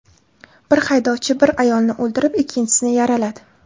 Bir haydovchi bir ayolni o‘ldirib, ikkinchisini yaraladi.